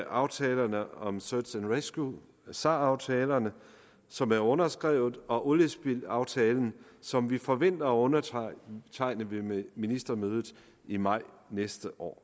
aftalerne om search and rescue sar aftalerne som er underskrevet og oliespildaftalen som vi forventer at undertegne ved ministermødet i maj næste år